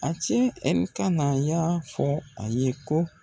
A cɛ Enikana ka y"a fɔ ale ye ko.